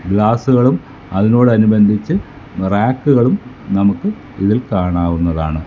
ഗ്ലാസുകളും അതിനോട് അനുബന്ധിച്ച് റാക്കുകളും നമുക്ക് ഇതിൽ കാണാവുന്നതാണ്.